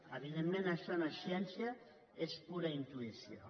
evidentment això no és ciència és pura intuïció